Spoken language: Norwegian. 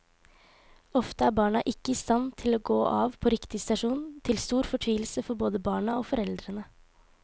Ofte er barna ikke i stand til å gå av på riktig stasjon, til stor fortvilelse for både barna og foreldrene.